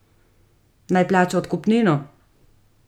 Naj plača odkupnino?